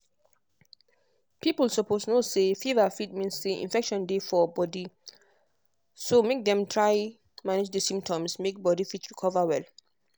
people suppose know say fever fit mean say infection dey for body so make dem try manage di symptoms make body fit recover well.